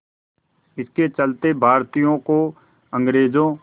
इसके चलते भारतीयों को अंग्रेज़ों